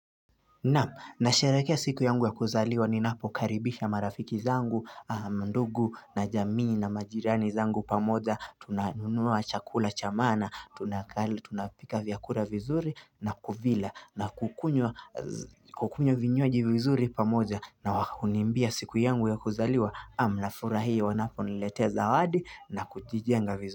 Naam, nasherekea siku yangu ya kuzaliwa ninapokaribisha marafiki zangu, ndugu na jamii na majirani zangu pamoja, tunanunua chakula cha maana, tunapika vyakura vizuri na kuvila na kukunywa vinywaji vizuri pamoja na hunimbia siku yangu ya kuzaliwa, naam nafurahia wanaponiletea zawadi na kujijenga vizuri.